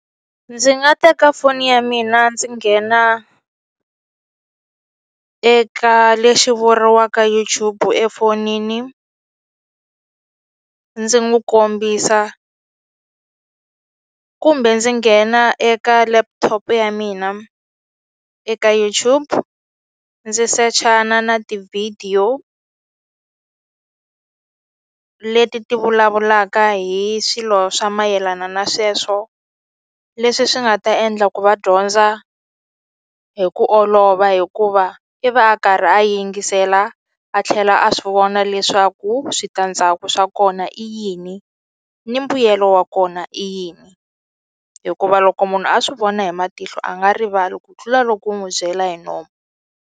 Ndzi nga teka foni ya mina ndzi nghena eka lexi vuriwaka YouTube efonini ndzi n'wi kombisa kumbe ndzi nghena eka laptop ya mina eka YouTube ndzi sachana na ti-video leti ti vulavulaka hi swilo swa mayelana na sweswo leswi swi nga ta endla ku va dyondza hi ku olova hikuva i va a karhi a yingisela a tlhela a swi vona leswaku switandzhaku swa kona i yini ni mbuyelo wa kona i yini hikuva loko munhu a swi vona hi matihlo a nga rivali ku tlula loko u n'wi byela hi nomo.